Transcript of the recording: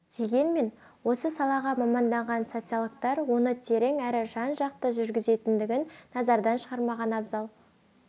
дегенмен осы салаға маманданған социологтар оны терең әрі жан-жақты жүргізетіндігін назардан шығармаған абзал